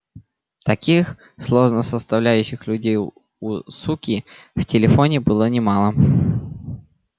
таких сложносоставляющих людей у суки в телефоне было немало